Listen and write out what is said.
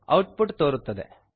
out ಪುಟ್ ತೋರುತ್ತದೆ